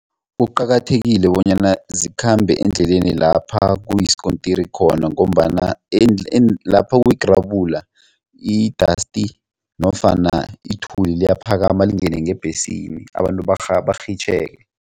Kuqakathekile bonyana zikhambe eendleleni lapha kuyisikontiri khona ngombana lapha kuyigrabula i-dust nofana ithuli liyaphakama lingene ngebhesini abantu burhitjheke.